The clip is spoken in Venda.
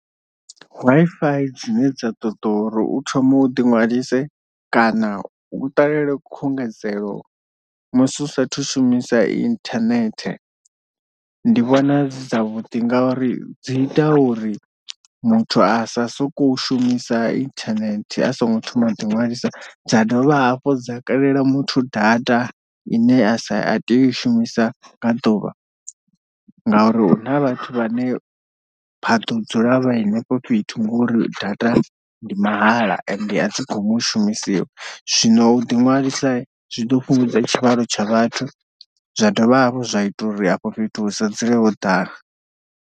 Wi-Fi dzine dza ṱoḓa uri u thome u ḓi ṅwalise kana u ṱalele khungedzelo musi u sathu shumisa internet ndi vhona dzi dza vhuḓi, nga uri dzi ita uri muthu a sa soko u shumisa internet a songo thoma ḓiṅwalisa, dza dovha hafhu dza kalela muthu data ine a sa a tea u i shumisa nga ḓuvha ngauri huna vhathu vhane vha ḓo dzula vha henefho fhethu ngori data ndi mahala ende a dzi gumi u shumisiwa, zwino u ḓiṅwalisa zwi ḓo fhungudza tshivhalo tsha vhathu zwa dovha hafhu zwa ita uri afho fhethu hu so dzule ho ḓala.